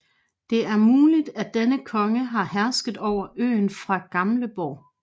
Det er muligt at denne konge har hersket over øen fra Gamleborg